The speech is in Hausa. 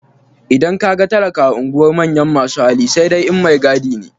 Idan ka ga talaka a unguwar manyan masu hali sai dai in maigadi ne.